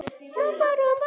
Alltaf manni við hlið.